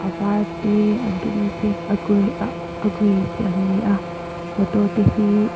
a var te a dum te a grey ah a grey te an ni a motor te hi--